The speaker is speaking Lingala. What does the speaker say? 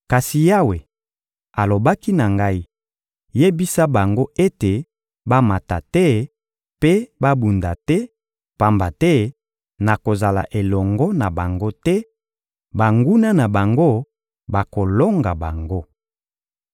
Kasi Yawe alobaki na ngai: «Yebisa bango ete bamata te mpe babunda te, pamba te nakozala elongo na bango te; banguna na bango bakolonga bango.»